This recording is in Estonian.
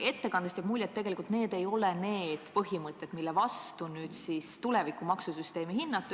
Ettekandest jäi mulje, et tegelikult need ei ole põhimõtted, millest lähtudes tuleks tuleviku maksusüsteemi hinnata.